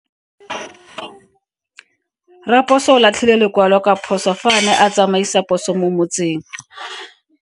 Raposo o latlhie lekwalo ka phoso fa a ne a tsamaisa poso mo motseng.